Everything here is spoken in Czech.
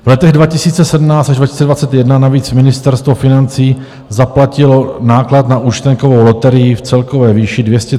V letech 2017 až 2021 navíc Ministerstvo financí zaplatilo náklad na účtenkovou loterii v celkové výši 231 milionů korun.